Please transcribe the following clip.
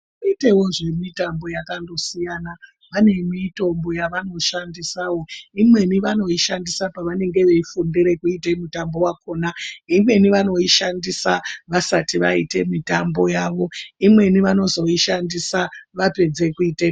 Vanoitewo nezvimitambo yakandosiyana vane mitombo yavanoshandisawo, imweni vanoishandisa pavanenge veifundire kuite mutambo wakhona. Imweni vanoishandise vasati vaite mitambo yavo. Imweni vanozoishandise vapedze kuite mitambo.